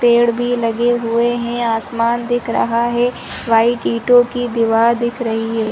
पेड़ भी लगे हुए हैं आसमान दिख रहा है वाइट ईंटों की दीवार दिख रही है।